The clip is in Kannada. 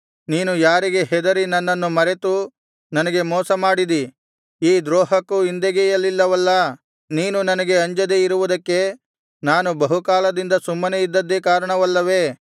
ನೀನು ಯಾರಿಗೆ ಹೆದರಿ ನನ್ನನ್ನು ಮರೆತು ನನಗೆ ಮೋಸಮಾಡಿದಿ ಈ ದ್ರೋಹಕ್ಕೂ ಹಿಂದೆಗೆಯಲಿಲ್ಲವಲ್ಲಾ ನೀನು ನನಗೆ ಅಂಜದೆ ಇರುವುದಕ್ಕೆ ನಾನು ಬಹುಕಾಲದಿಂದ ಸುಮ್ಮನೆ ಇದ್ದದ್ದೇ ಕಾರಣವಲ್ಲವೇ